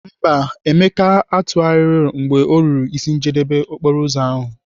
Mba, Emeka emeghị ntụgharị mgbe ọ ruru n'isi njedebe okporoụzọ ahụ.